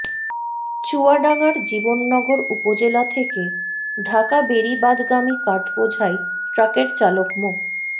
চুয়াডাঙ্গার জীবননগর উপজেলা থেকে ঢাকা বেড়িবাঁধগামী কাঠ বোঝাই ট্রাকের চালক মো